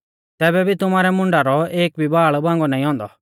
तैबै भी तुमारै मुंडा रौ एक भी बाल़ बांगौ नाईं औन्दौ